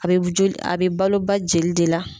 A be joil, a be balo ba jeli de la.